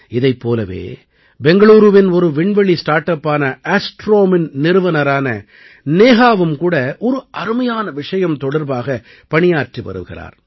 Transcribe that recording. இதைப் போலவே பெங்களூருவின் ஒரு விண்வெளி ஸ்டார்ட் அப்பான Astromeஇன் நிறுவனரான நேஹாவும் கூட ஒரு அருமையான விஷயம் தொடர்பாகப் பணியாற்றி வருகிறார்